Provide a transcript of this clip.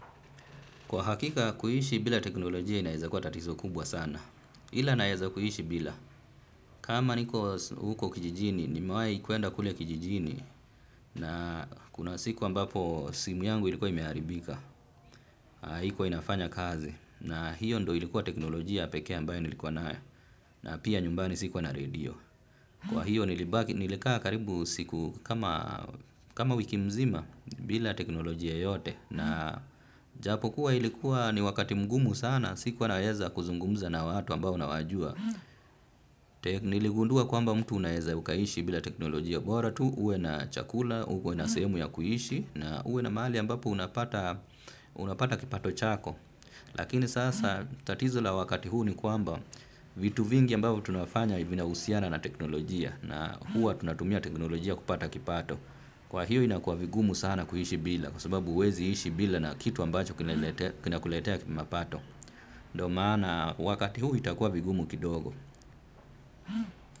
Kwa hakika, kuishi bila teknolojia inaweza kuwa tatizo kubwa sana. Ila naweza kuishi bila. Kama niko huko kijijini, ni mewai kwenda kule kijijini. Na kuna siku ambapo simu yangu ilikuwa imearibika. Haikua inafanya kazi. Na hiyo ndio ilikuwa teknolojia pekee ambayo nilikuwa nayo. Na pia nyumbani sikuwa na radio. Kwa hiyo nilikaa karibu siku kama wiki mzima bila teknolojia yoyote. Na japo kuwa ilikuwa ni wakati mgumu sana, sikuwa naweza kuzungumza na watu ambao na wajua. Niligundua kwamba mtu unaweza ukaishi bila teknolojia. Bora tu uwe na chakula, uwe na sehemu ya kuishi, na uwe na mahali ambapo unapata kipato chako. Lakini sasa tatizo la wakati huu ni kwamba vitu vingi ambavyo tunafanya vina husiana na teknolojia. Na huwa tunatumia teknolojia kupata kipato. Kwahiyo inakua vigumu sana kuishi bila kwasababu huwezi ishi bila kitu kinakuletea mapato. Ndio maana wakati huu itakuwa vigumu kidogo.